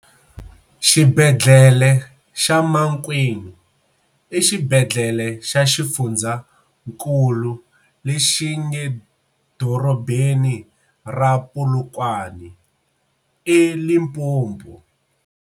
Xibedlele xa Mankweng i xibedlele xa xifundzankulu lexi nge dorobeni ra Polokwane, e Limpopo.